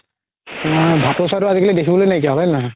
তুমাৰ ভাতৌ চৰাইতো দেখিবলৈ নাইকিয়া হ'ল হয় নে নহয়